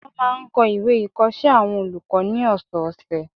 Wọ́n máa n kọ ìwé ìkọsẹ́ àwọn olùkọ́ ní ọ̀sọ̀ọ̀sẹ̀